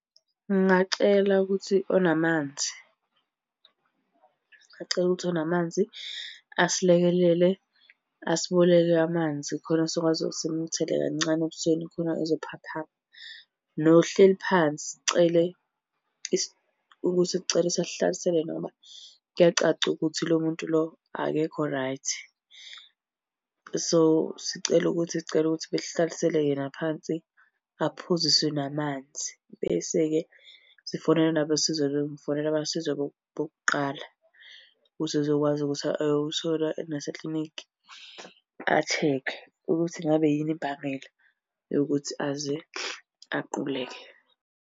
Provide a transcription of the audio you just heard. Ngingacela ukuthi onamanzi, ngingacela ukuthi onamanzi asilekelele asiboleke amanzi khona sokwazi ukuthi simuthele kancane ebusweni khona ezophaphama. Nohleli phansi sicele, ukuthi sicela ukuthi asihlalisele yena ngoba kuyacaca ukuthi lo muntu lo akekho right. So, sicela ukuthi sicela ukuthi besihlalisele yena phansi aphuzisiswe namanzi. Bese-ke sifonele nabosizo ngifonele abosizo bokuqala ukuze ezokwazi ukuthi ayothola naseklinikhi a-check-e ukuthi ngabe yini imbangela yokuthi aze aquleke.